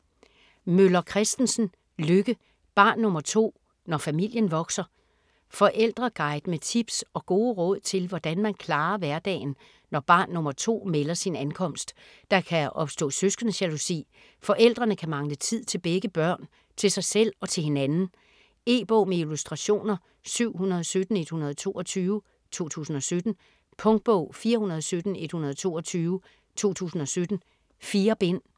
Møller Kristensen, Lykke: Barn nr. 2: når familien vokser Forældreguide med tips og gode råd til hvordan man klarer hverdagen når barn nr. 2 melder sin ankomst. Der kan opstå søskendejalousi, forældrene kan mangle tid til begge børn, til sig selv og til hinanden. E-bog med illustrationer 717122 2017. Punktbog 417122 2017. 4 bind.